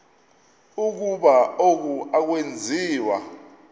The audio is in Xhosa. ukuba oku akwenziwa